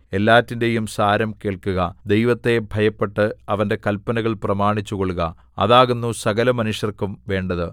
എല്ലാറ്റിന്റെയും സാരം കേൾക്കുക ദൈവത്തെ ഭയപ്പെട്ട് അവന്റെ കല്പനകൾ പ്രമാണിച്ചുകൊള്ളുക അതാകുന്നു സകലമനുഷ്യർക്കും വേണ്ടത്